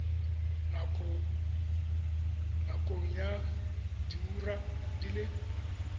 nakong ya diura di le